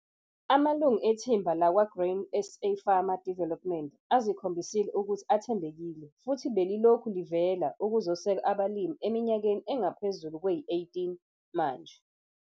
Amalungu ethimba lakwa-Grain SA Farmer Development azikhombisile ukuthi athembekile futhi 'belilokhu livela' ukuzosekela abalimi eminyakeni engaphezulu kwey-18 manje.